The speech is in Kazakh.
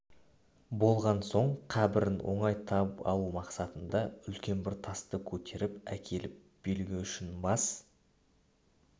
болған соң қабірін оңай тауып алу мақсатында үлкен бір тасты көтеріп әкеліп белгі үшін бас